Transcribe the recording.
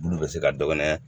Olu bɛ se ka dɔ kɛ nɛ